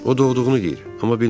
O doğulduğunu deyir, amma bilmirəm.